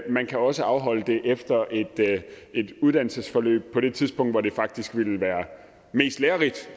man kan også afholde det efter et uddannelsesforløb på det tidspunkt hvor det faktisk ville være mest lærerigt